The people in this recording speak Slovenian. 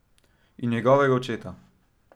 In njegovega očeta.